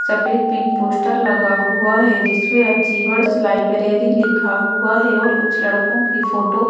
सफेद pink poster लगा हुआ है जिसमें अचीवर्स लाइब्रेरी लिखा हुआ है और कुछ लड़कों की फोटो --